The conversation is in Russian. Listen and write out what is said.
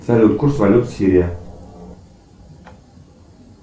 салют курс валют сирия